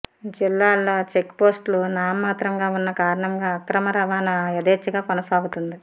జిల్లాలో చెక్పోస్టులు నామమాత్రంగా ఉన్న కారణంగా అక్రమ రవాణ యధేచ్చగా కొనసాగుతుంది